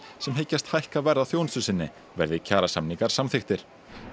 sem hyggjast hækka verð á þjónustu sinni verði kjarasamningar samþykktir